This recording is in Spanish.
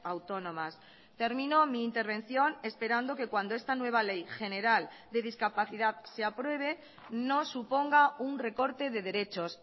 autónomas termino mi intervención esperando que cuando esta nueva ley general de discapacidad se apruebe no suponga un recorte de derechos